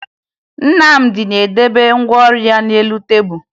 Nnamdị na-edebe ngwa ọrụ ya n'elu tebulu